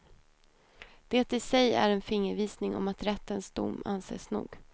Det i sig är en fingervisning om att rättens dom anses nog.